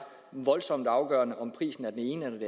voldsomt afgørende om prisen er den ene eller